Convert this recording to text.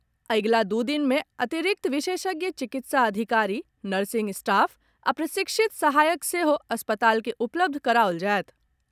अगिला दू दिन मे अतिरिक्त विशेषज्ञ चिकित्सा अधिकारी, नर्सिंग स्टॉफ आ प्रशिक्षित सहायक सेहो अस्पताल के उपलब्ध कराओल जायत।